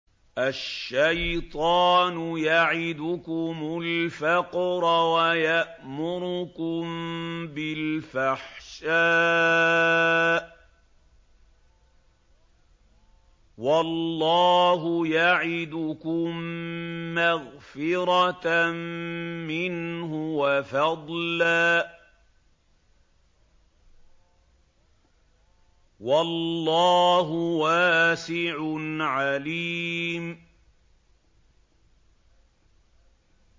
الشَّيْطَانُ يَعِدُكُمُ الْفَقْرَ وَيَأْمُرُكُم بِالْفَحْشَاءِ ۖ وَاللَّهُ يَعِدُكُم مَّغْفِرَةً مِّنْهُ وَفَضْلًا ۗ وَاللَّهُ وَاسِعٌ عَلِيمٌ